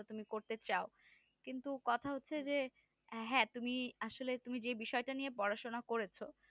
তা তুমি করতে চাও কিন্তু কথা হচ্ছে যে হ্যাঁ তুমি আসলে তুমি যেই বিষয় টা নিয়ে পড়াশুনো করেছো